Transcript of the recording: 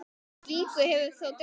Úr slíku hefur þó dregið.